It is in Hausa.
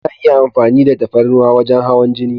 Ana iya amfani da tafarnuwa wajen hawan jini.